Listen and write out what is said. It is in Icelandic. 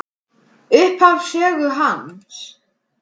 Upphaf sögu hans.